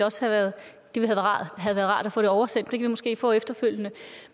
også have været rart at få det oversendt men vi måske få efterfølgende